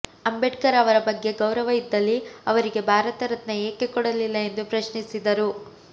ಅಂಬೇಡ್ಕರ್ ಅವರ ಬಗ್ಗೆ ಗೌರವ ಇದ್ದಲ್ಲಿ ಅವರಿಗೆ ಭಾರತ ರತ್ನ ಏಕೆ ಕೊಡಲಿಲ್ಲ ಎಂದು ಪ್ರಶ್ನಿಸಿದರು